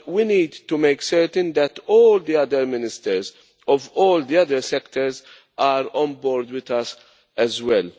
But we need to make certain that all of the other Ministers of all the other sectors are on board with us as well.